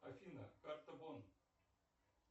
афина карта бон